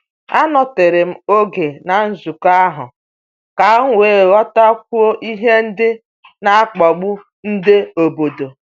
Anọtere m oge na nzukọ ahụ ka m wee ghọtakwuo ihe ndị n'akpagbu nde obodo.